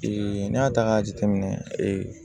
n'i y'a ta k'a jateminɛ